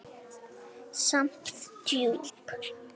Samt djúp.